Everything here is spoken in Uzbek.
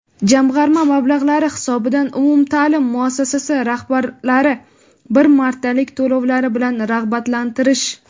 jamg‘arma mablag‘lari hisobidan umumtaʼlim muassasasi rahbarlari bir martalik to‘lovlari bilan rag‘batlantirish;.